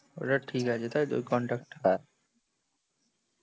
ওটা ঠিক আছে তাইতো? ঐ কনট্যাক্ট টা।